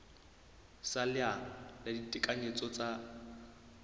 sa leano la ditekanyetso tsa